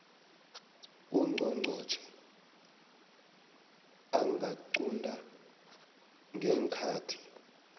ungqongqotjhe angaqunta ngeenkhathi